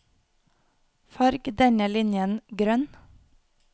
Farg denne linjen grønn